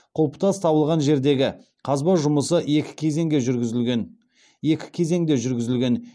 құлпытас табылған жердегі қазба жұмысы екі кезеңде жүргізілген